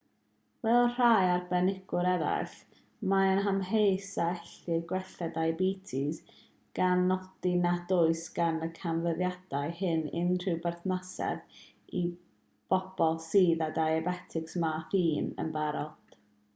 fel rhai arbenigwyr eraill mae e'n amheus a ellir gwella diabetes gan nodi nad oes gan y canfyddiadau hyn unrhyw berthnasedd i bobl sydd â diabetes math 1 yn barod